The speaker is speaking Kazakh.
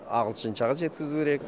ағылшыншаға жеткізу керек